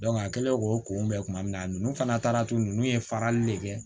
a kɛlen k'o kunbɛn kuma min na a nnnu fana taara tun ninnu ye farali le kɛ